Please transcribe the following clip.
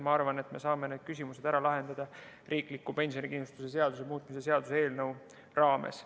Ma arvan, et me saame need küsimused ära lahendada riikliku pensionikindlustuse seaduse muutmise seaduse eelnõu raames.